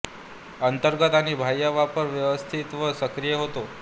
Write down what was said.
अंतर्गत आणि बाह्य व्यापार व्यवस्थित व सक्रिय होता